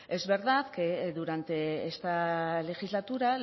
es verdad que durante esta legislatura